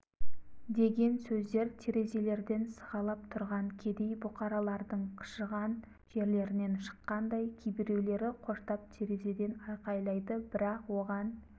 деген сөздер терезелерден сығалап тұрған кедей бұқаралардың қышыған жерлерінен шыққандай кейбіреулері қоштап терезеден айқайлайды бірақ оған